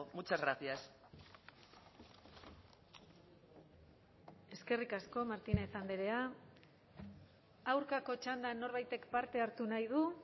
muchas gracias eskerrik asko martínez andrea aurkako txandan norbaitek parte hartu nahi du